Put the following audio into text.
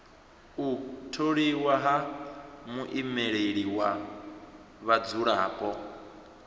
u tholiwa ha muimeleli wa vhadzulapo